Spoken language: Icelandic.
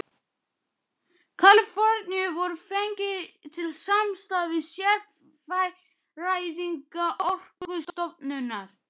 Kaliforníu voru fengnir til samstarfs við sérfræðinga Orkustofnunar í verkinu.